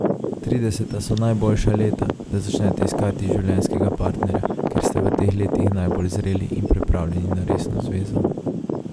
Trideseta so najboljša leta, da začnete iskati življenjskega partnerja, ker ste v teh letih najbolj zreli in pripravljeni na resno zvezo.